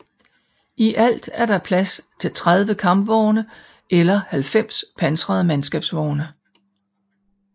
I alt er der plads til 30 Kampvogne eller 90 pansrede mandskabsvogne